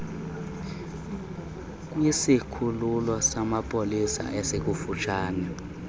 kwisikhululo samapolisa esikufutshane